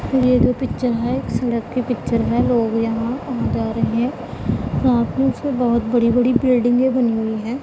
ये जो पिक्चर है एक सड़क की पिक्चर है लोग यहां कहां जा रहे हैं बहोत बड़ी बड़ी बिल्डिंगे बनी हुई हैं।